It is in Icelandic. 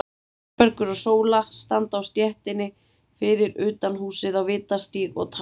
Þórbergur og Sóla standa á stéttinni fyrir utan húsið á Vitastíg og tala saman.